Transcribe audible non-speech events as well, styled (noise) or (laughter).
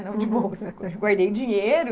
(laughs) Não de bolsa, eu guardei dinheiro.